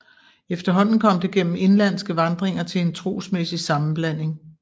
Efterhånden kom det gennem indenlandske vandringer til en trosmæssig sammenblanding